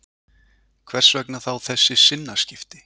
Hvers vegna þá þessi sinnaskipti?